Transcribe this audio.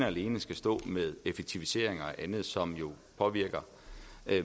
alene skal stå med effektivisering og andet som jo påvirker